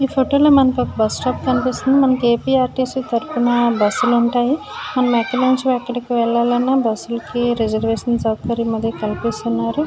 ఈ ఫోటో లో మనకి ఒక బస్ స్టాప్ కనిపిస్తుంది. మనకి ఏపి ఆర్టీసీ తరుపున బస్ లు ఉంటాయి. మనం ఎక్కడ నించి ఎక్కడికి వెళ్లాలన్న బస్ లకి రిజర్వేషన్ సౌకర్యం అది కల్పిస్తున్నారు. .